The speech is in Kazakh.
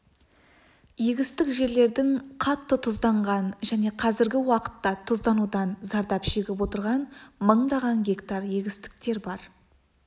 егістік жерлердің қатты тұзданған және қазіргі уақытта тұзданудан зардап шегіп отырған мыңдаған гектар егістіктер бар